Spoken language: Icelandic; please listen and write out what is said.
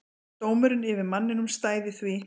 Dómurinn yfir manninum stæði því.